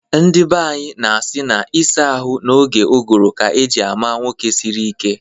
Ndi banyị na-asị na ịsa ahụ n'oge ụgụrụ ka eji ama nwoke siri ike